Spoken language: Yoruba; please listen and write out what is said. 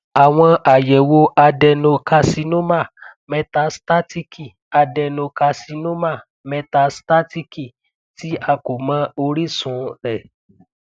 awọn ayẹwo adenocarcinoma metastatiki adenocarcinoma metastatiki ti a ko mọ orisun rẹ